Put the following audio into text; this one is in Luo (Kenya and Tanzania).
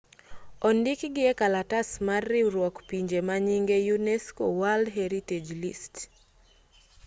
odikgi e kalatas mar riwruok pinje manyinge unesco world heritage list